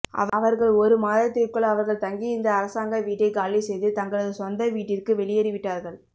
அவர்கள் ஓரு மாதத்திற்குள் அவர்கள் தங்கியிருந்த அரசாங்க வீட்டை காலி செய்து தங்களது சொந்த வீட்டிற்கு வெளியேறி விட்டார்கள்